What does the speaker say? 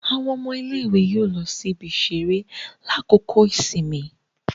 Awọn ọmọ ilé-ìwé yóò lọ sí ibi-iṣere lakoko ìsinmi